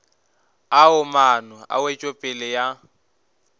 ao maano a wetšopele ya